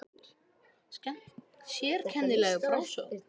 Sérkennileg frásögn